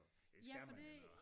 Ja for det